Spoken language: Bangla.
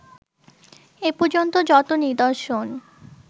এপর্যন্ত যত নিদর্শন